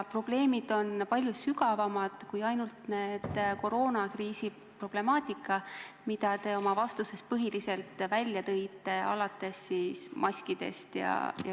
Probleemid on palju sügavamad kui ainult need koroonakriisi omad, mida te oma vastuses põhiliselt esile tõite, alates maskidest.